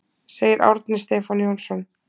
Segir Árni Stefán Jónsson.